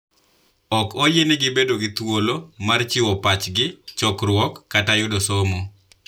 Ok oyienegi bedo gi thuolo mar chiwo pachi, chokruok, kata yudo somo.